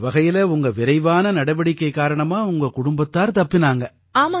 அந்த வகையில உங்க விரைவான நடவடிக்கை காரணமா உங்க குடும்பத்தார் தப்பினாங்க